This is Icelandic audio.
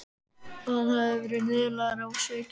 Hann hafði verið niðurlægður og svikinn.